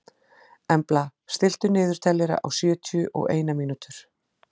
Embla, stilltu niðurteljara á sjötíu og eina mínútur.